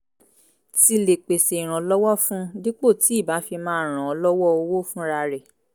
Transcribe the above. ti lè pèsè ìrànlọ́wọ́ fún un dípò tí ì bá fi máa ràn án lọ́wọ́ owó fúnra rẹ̀